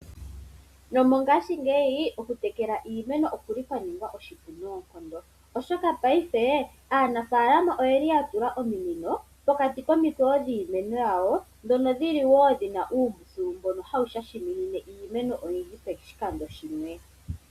Nomongashingeyi oku tekela oshili sha ninga oshipu noonkondo, oshoka paife aanafaalama oyeli ya tula ominino pokati komikweyo dhiimeno yawo dhono dhili wo dhina uupyu mboka hawu shashimine iimeno oyindji poshikando shimwe.